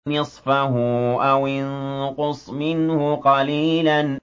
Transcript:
نِّصْفَهُ أَوِ انقُصْ مِنْهُ قَلِيلًا